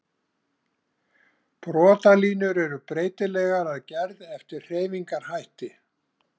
Brotalínur eru breytilegar að gerð eftir hreyfingarhætti.